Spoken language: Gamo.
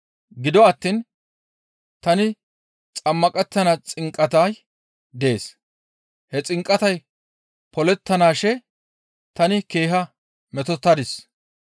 Gido attiin tani xammaqettana xinqatay dees; he xinqatay polettanaashe tani keeha metotettadis.